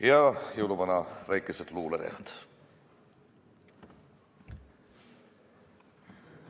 Ja jõuluvanale väikesed luuleread.